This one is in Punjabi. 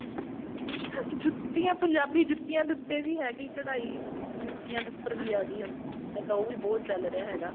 ਜੁੱਤੀਆਂ ਪੰਜਾਬੀ ਜੁੱਤੀਆਂ ਦੇ ਉੱਤੇ ਵੀ ਹੈਗੀ ਕਢਾਈ ਜੁੱਤੀਆਂ ਦੇ ਉੱਪਰ ਵੀ ਆ ਗਈ ਹੁਣ ਤਾਂ ਉਹ ਵੀ ਬਹੁਤ ਚੱਲ ਰਿਹਾ ਹੈਗਾ